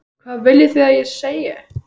Hvað viljið þið að ég segi?